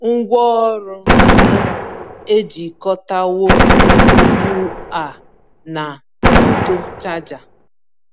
Ngwaọrụ m ejikọtawo ugbu a na ọdụ chaja.